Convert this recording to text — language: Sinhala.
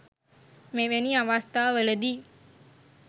මෙවැනි අවස්ථාවලදී